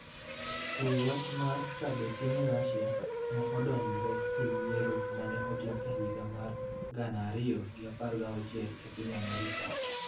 ewi wach mar ka be piny Rusia ne odonjore e yiero ma ne otim e higa mar gana ariyo gi apar gi auchiel e piny Amerka.